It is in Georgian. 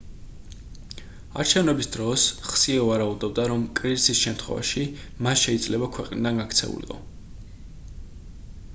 არჩევნების დროს ხსიე ვარაუდობდა რომ კრიზისის შემთხვევაში მა შეიძლება ქვეყნიდან გაქცეულიყო